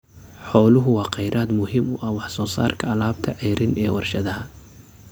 Xooluhu waa kheyraad muhiim u ah wax soo saarka alaabta ceeriin ee warshadaha.